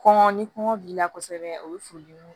Kɔngɔ ni kɔngɔ b'i la kosɛbɛ o ye furudimi